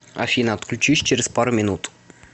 афина отключись через пару минут